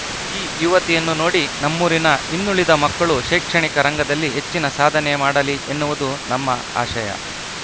ಈ ಯುವತಿಯನ್ನು ನೋಡಿ ನಮ್ಮೂರಿನ ಇನ್ನುಳಿದ ಮಕ್ಕಳು ಶೈಕ್ಷಣಿಕ ರಂಗದಲ್ಲಿ ಹೆಚ್ಚಿನ ಸಾಧನೆ ಮಾಡಲಿ ಎನ್ನುವುದು ನಮ್ಮ ಆಶಯ